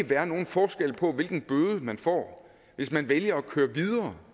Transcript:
være nogen forskel på hvilken bøde man får hvis man vælger at køre videre